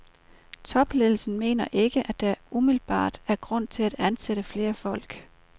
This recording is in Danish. Toldledelsen mener ikke, at der umiddelbart er grund til at ansætte flere folk.